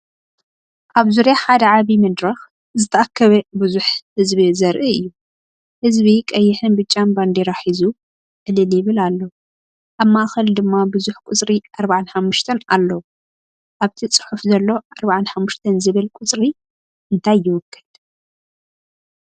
ኣብ ዙርያ ሓደ ዓቢ መድረኽ ዝተኣከበ ብዙሕ ህዝቢ ዘርኢ እዩ። ህዝቢ ቀይሕን ብጫን ባንዴራ ሒዙ ዕልል ይብል ኣሎ። ኣብ ማእከል ድማ ብዙሕ ቁጽሪ “45” ኣሎ። ኣብቲ ፅሑፍ ዘሎ “45” ዝብል ቁጽሪ እንታይ ይውክል?